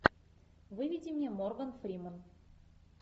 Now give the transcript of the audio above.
выведи мне морган фримен